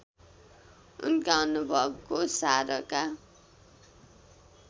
उनका अनुभवको सारका